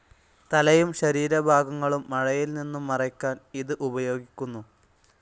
തലയും ശരീരഭാഗങ്ങളും മഴയിൽ നിന്നും മറയ്ക്കാൻ ഇത്‌ ഉപയോഗിക്കുന്നു.